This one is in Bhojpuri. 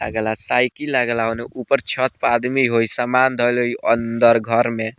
अगला साइकिल लागेला उने ऊपर छत पर आदमी होइ समान धइल होइ घर अंदर में।